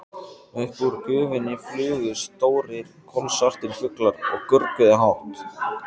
Upp úr gufunni flugu stórir, kolsvartir fuglar og görguðu hátt.